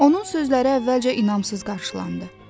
Onun sözləri əvvəlcə inamsız qarşılandı.